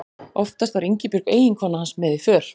Oftast var Ingibjörg eiginkona hans með í för.